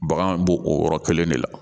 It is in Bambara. Bagan bo o yɔrɔ kelen de la